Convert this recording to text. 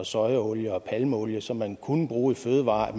sojaolie og palmeolie som man kunne bruge i fødevarer